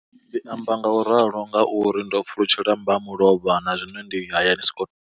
Ndi amba ngauralo nga uri ndo pfulutshela mbamulovha na zwino ndi hayani.